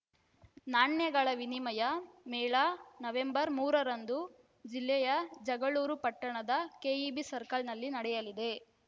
ನಾಣ್ಯಗಳ ವಿನಿಮಯ ಮೇಳ ನವೆಂಬರ್ ಮೂರರಂದು ಜಿಲ್ಲೆಯ ಜಗಳೂರು ಪಟ್ಟಣದ ಕೆಇಬಿ ಸರ್ಕಲ್‌ನಲ್ಲಿ ನಡೆಯಲಿದೆ